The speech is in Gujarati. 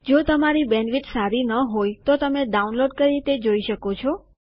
જો તમારી બેન્ડવિડ્થ સારી ન હોય તો તમે ડાઉનલોડ કરી તે જોઈ શકો છો